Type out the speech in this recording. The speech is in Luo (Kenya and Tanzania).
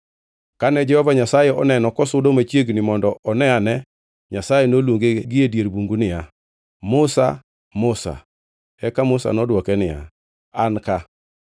Kane Jehova Nyasaye oneno kosudo machiegni mondo one ane, Nyasaye noluonge gi e dier bungu niya, “Musa! Musa!” Eka Musa nodwoke niya, “An ka.”